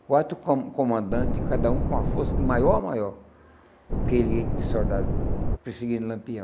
Quatro co comandantes, cada um com a força do maior, maior, que ele tinha de soldado para perseguir Lampião.